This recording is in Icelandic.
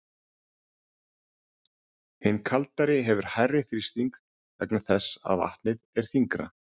Hin kaldari hefur hærri þrýsting vegna þess að vatnið er þyngra.